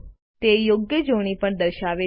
તે યોગ્ય જોડણી પણ દર્શાવે છે